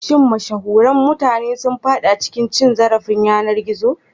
Shin mashahuran mutane sun fada cikin cin zarafin yanar gizo?